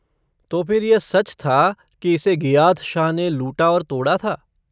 तो फिर यह सच था कि इसे गियाथ शाह ने लूटा और तोड़ा था?